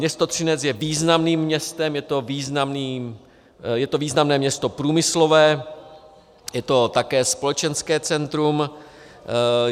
Město Třinec je významným městem, je to významné město průmyslové, je to také společenské centrum.